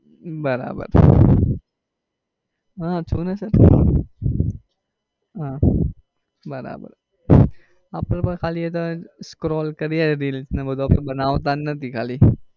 બરાબર હા છું ને sir હા બરાબર અપડે એ તો ખાલી scroll કરીએ રીલ્સ ને એ બધું અપડે બનાવતા નથી ખાલી.